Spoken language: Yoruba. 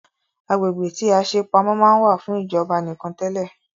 Agbègbè tí a ṣe pamọ́ máa ń wà fún ìjọba nìkan tẹle